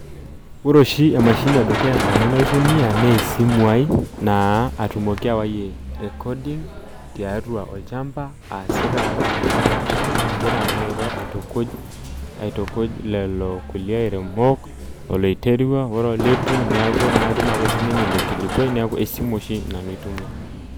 Oore oshi emashini e dukuya nanu naitumia naa esimu ai, atumoki ayayie recordimg tiatua olchamba aasita imbaa napaasha, agira naa airo aitukuj, aitukuj lelo kulie airemok, oloiterua oore oleitu niaku naa ketum aake sininye iilo kilikuai niaku esimu oshi nanu aitumia.